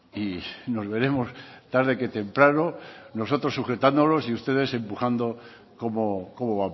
y nos veremos tarde que temprano nosotros sujetándolos y ustedes empujando cómo